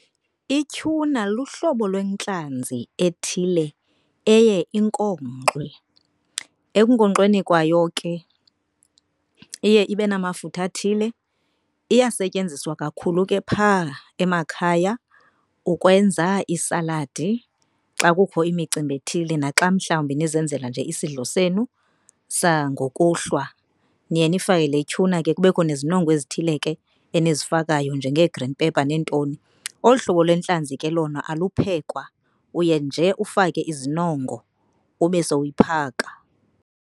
Ituna luhlobo lwentlanzi ethile eye inkonkxwe. Ekunkonkxeni kwayo ke iye ibe namafutha athile. Iyasetyenziswa kakhulu ke phaa emakhaya ukwenza iisaladi xa kukho imicimbi ethile naxa mhlawumbi nizenzela nje isidlo senu sangokuhlwa. Niye nifake le tuna ke kubekho nezinongo ezithile ke enizifakayo njenge-green pepper neentoni. Olu hlobo lwentlanzi ke lona aluphekwa uye nje ufake izinongo ube sowuyiphaka